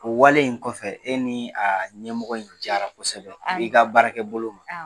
O wale in kɔfɛ e ni a ɲɛmɔgɔ in jara kɔsɛbɛ i ka baarakɛ bolo ma.